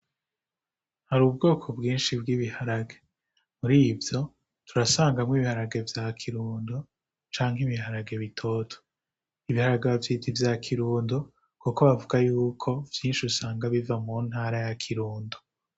Hari ubwoko bwinshi bw'ibiharage murivyo turasangamwo ibiharage vya kirundo canke ibiharage bitoto, ibiharage bavyita vya kirundo kuko bavuga yuko vyinshi usanga biva mu ntara ya kirundo.